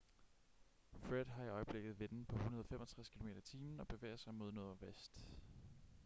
fred har i øjeblikket vinde på 165 km/t og bevæger sig mod nordvest